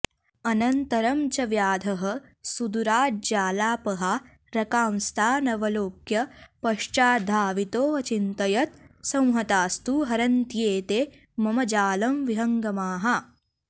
अनन्तरं च व्याधः सुदूराज्जालापहारकांस्तानवलोक्य पश्चाद्धावितोऽचिन्तयत् संहतास्तु हरन्त्येते मम जालं विहङ्गमाः